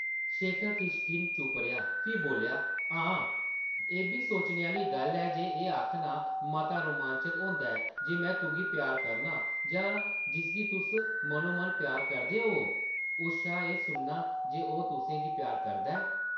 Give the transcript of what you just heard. शेखर किश खिन चुप्प रेहा फ्ही बोल्लेआ, ‘‘हां, एʼब्बी सोचने आह्ली गल्ल ऐ जे एह् आखना मता रोमांचक होंदा ऐ जे में तुगी प्यार करनां जां जिसगी तुस मनो-मन प्यार करदे होवो उस शा एह् सुनना जे ओह् तुसें गी प्यार करदा ऐ ?’’